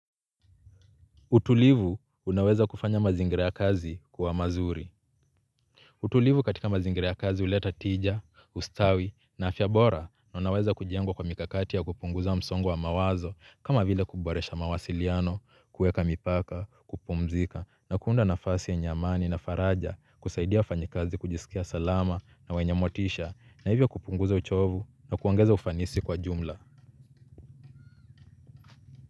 Utulivu unaweza kufanya mazingira ya kazi kuwa mazuri. Utulivu katika mazingira ya kazi huleta tija, ustawi na afya bora na unaweza kujengwa kwa mikakati ya kupunguza msongo wa mawazo kama vile kuboresha mawasiliano, kuweka mipaka, kupumzika na kuunda nafasi yenye amani na faraja kusaidia wafanyakazi kujisikia salama na wenye motisha na hivyo kupunguza uchovu na kuongeza ufanisi kwa jumla.